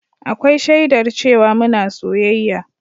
Akwai shaidar cewa muna soyayya